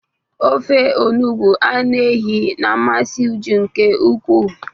Ofe onugbu anụ ehi na-amasị Uju nke ukwuu.